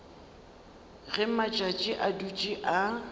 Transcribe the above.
ge matšatši a dutše a